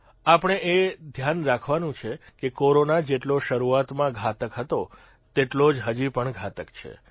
આપણે એ ધ્યાન રાખવાનું છે કે કોરોના જેટલો શરૂઆતમાં ઘાતક હતો તેટલો જ હજીપણ ઘાતક છે